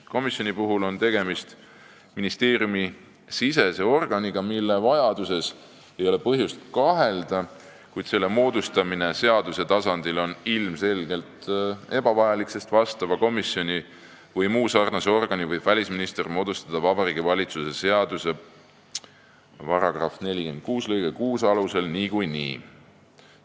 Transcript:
Komisjoni puhul on tegemist ministeeriumisisese organiga, mille vajaduses ei ole põhjust kahelda, kuid selle moodustamine seaduse tasandil on ilmselgelt ebavajalik, sest vastava komisjoni vms organi võib välisminister moodustada Vabariigi Valitsuse seaduse § 46 lõike 6 alusel niikuinii.